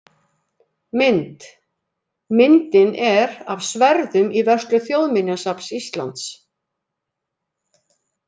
Mynd: Myndin er af sverðum í vörslu Þjóðminjasafns Íslands.